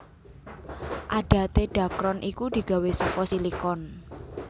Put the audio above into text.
Adaté dhakron iku digawé saka silikon